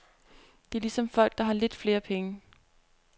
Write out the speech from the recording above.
Det er ligesom folk, der har lidt flere penge.